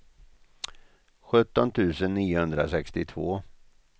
sjutton tusen niohundrasextiotvå